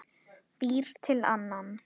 Býr til annan.